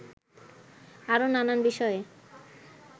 আরও নানান বিষয়ে